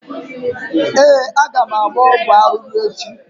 Ee, aga m agba ọgwụ arụrụ echi.